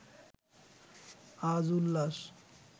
আজ উল্লাস